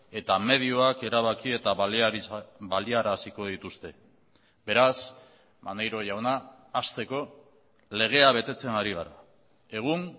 eta medioak erabaki eta baliaraziko dituzte beraz maneiro jauna hasteko legea betetzen ari gara egun